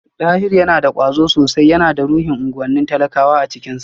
Dahiru yana da kwazo sosai, yana da ruhin unguwannin talakawa a cikinsa